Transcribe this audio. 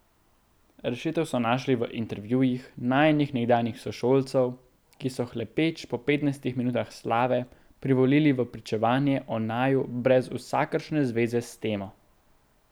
Rešitev so našli v intervjujih najinih nekdanjih sošolcev, ki so, hlepeč po petnajstih minutah slave, privolili v pričevanje o naju brez vsakršne zveze s temo.